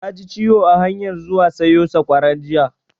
Na ji ciwo a hanyan zuwa sayo sakwara jiya